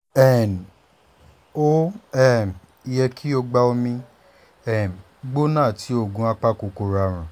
um ó um yẹ kó o gba omi um gbóná àti oògùn apakòkòrò àrùn